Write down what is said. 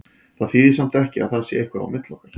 Það þýðir samt ekki að það sé eitthvað á milli okkar.